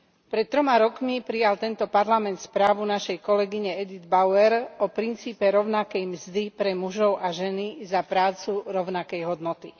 Pred 3 rokmi prijal tento Parlament správu našej kolegyne Edit Bauer o princípe rovnakej mzdy pre mužov a ženy za prácu rovnakej hodnoty.